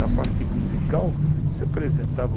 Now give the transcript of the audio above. Na parte musical, você apresentava...